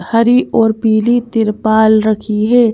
हरी और पीली तिरपाल रखी है।